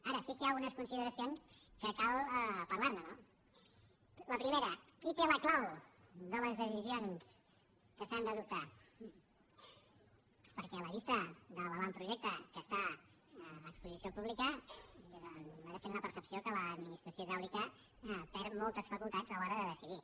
ara sí que hi ha unes consideracions que cal parlar ne no la primera qui té la clau de les decisions que s’han d’adoptar perquè a la vista de l’avantprojecte que està a exposició pública nosaltres tenim la percepció que l’administració hidràulica perd moltes facultats a l’hora de decidir